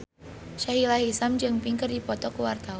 Sahila Hisyam jeung Pink keur dipoto ku wartawan